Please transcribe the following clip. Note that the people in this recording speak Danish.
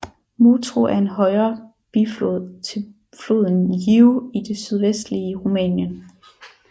Motru er en højre biflod til floden Jiu i det sydvestlige Rumænien